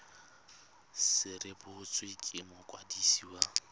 se rebotswe ke mokwadisi wa